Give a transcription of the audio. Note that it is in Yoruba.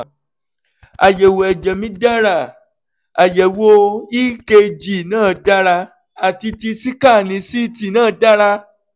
àyẹ̀wò ẹ̀jẹ̀ mí dára àyẹ̀wò ekg náà dára àti ti síkáánì ct náà dára